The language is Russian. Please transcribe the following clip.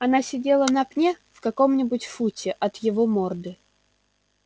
она сидела на пне в каком нибудь футе от его морды